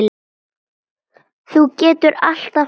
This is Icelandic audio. Þú getur alltaf hætt